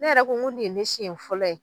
Ne yɛrɛ ko ko nin ye ne siɲɛ fɔlɔ ye.